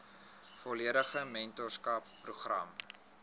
volledige mentorskap program